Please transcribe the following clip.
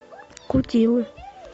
кутилы